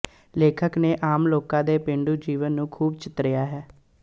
ਲੇਖਕ ਨੇ ਆਮ ਲੋਕਾਂ ਦੇ ਪੇਂਡੂ ਜੀਵਨ ਨੂੰ ਖ਼ੂਬ ਚਿਤਰਿਆ ਹੈ